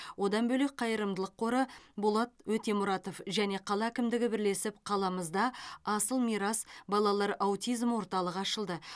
одан бөлек қайырымдылық қоры болат өтемұратов және қала әкімдігі бірлесіп қаламызда асыл мирас балалар аутизм орталығы ашылды